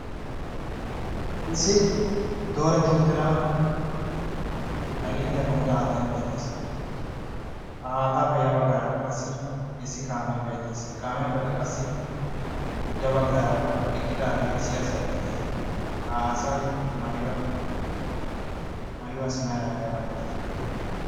issi dooretti uttida ailinddiyaa komida haattai beettees. ha aataappe ya baggaarakka qassi issi kaamee beettees. he kaamiyaappekka qassi ya baggaara eqqidaagee issi aasaiy beetees. ha asai maayuwaasi mera yaayabaa malati?